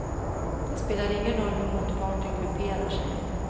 Det spelar ingen roll hur motparten grupperar sig.